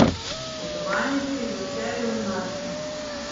Svetovalnici v Celju in Laškem.